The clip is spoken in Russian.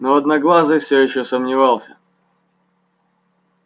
но одноглазый всё ещё сомневался